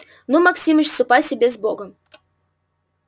ну максимыч ступай себе с богом